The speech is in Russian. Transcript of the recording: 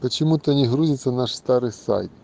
почему-то не грузится наш старый сайт